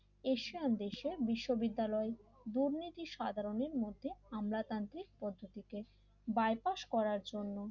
Asian দেশে বিশ্ববিদ্যালয় দুর্নীতি সাধারণের মধ্যে আমলাতান্ত্রিক পদ্ধতি কে বাইপাস করার জন্য